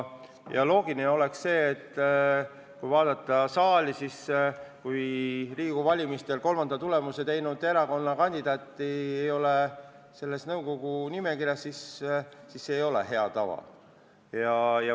Oleks loogiline arvata, et kui Riigikogu valimistel kolmanda tulemuse teinud erakonna kandidaati ei ole nõukogu liikmete nimekirjas, siis see ei ole hea tava järgimine.